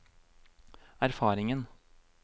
erfaringen